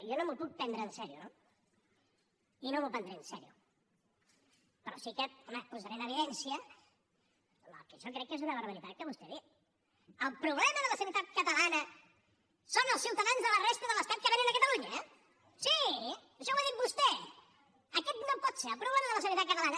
jo no m’ho puc prendre en sèrio no i no m’ho prendré en sèrio però sí que home posaré en evidència el que jo crec que és una barbaritat que vostè ha dit el problema de la sanitat catalana són els ciutadans de la resta de l’estat que vénen a catalunya sí això ho ha dit vostè aquest no pot ser el problema de la sanitat catalana